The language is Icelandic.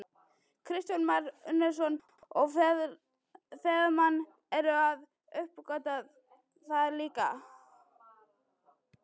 Kristján Már Unnarsson: Og ferðamenn eru að uppgötva það líka?